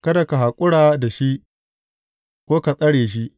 Kada ka haƙura da shi, ko ka tsare shi.